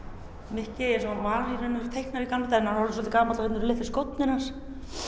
Mikki eins og hann var í raun og veru teiknaður í gamla hann er orðinn svolítið gamall og hérna eru litlu skórnir hans